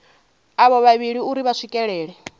avho vhavhili uri vha swikelele